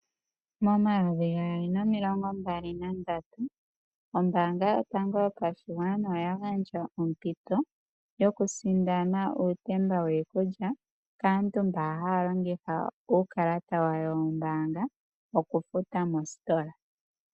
Mo 2023 ombaanga yotango yopashigwana oya gandja ompito yoku sindana uutemba wiikulya kaantu mba haya longitha uukalata wawo wombaanga okufuta mostola.